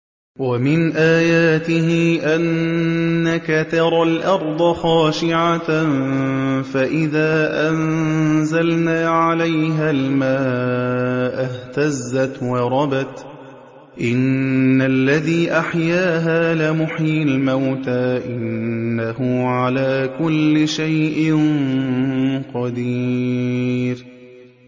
وَمِنْ آيَاتِهِ أَنَّكَ تَرَى الْأَرْضَ خَاشِعَةً فَإِذَا أَنزَلْنَا عَلَيْهَا الْمَاءَ اهْتَزَّتْ وَرَبَتْ ۚ إِنَّ الَّذِي أَحْيَاهَا لَمُحْيِي الْمَوْتَىٰ ۚ إِنَّهُ عَلَىٰ كُلِّ شَيْءٍ قَدِيرٌ